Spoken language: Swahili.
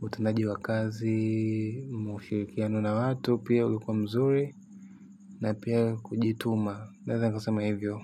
utendaji wa kazi mshirikiano na watu pia ulikuwa mzuri na pia kujituma naeza nikasema hivyo.